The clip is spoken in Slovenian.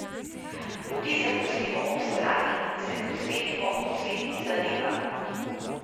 Budizem pustimo ob strani in se posvetimo posvetnim zadevam.